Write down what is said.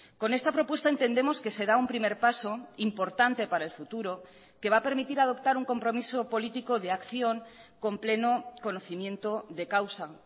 con esta propuesta entendemos que se da un primer paso importante para el futuro que va a permitir adoptar un compromiso político de acción con pleno conocimiento de causa